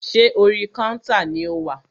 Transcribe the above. Ṣé orí kántà ni o wà?